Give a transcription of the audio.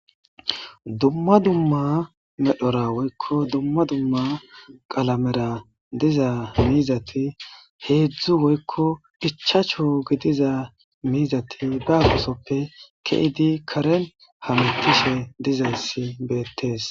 dumma dumma medhora woykko dumma dumma qalamera diza miizati heedzdzu woykko phichacho gidiza miizati baabosoppe keydi karen hamitishe dizayssi beettees